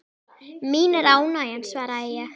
Mín er ánægjan svaraði ég.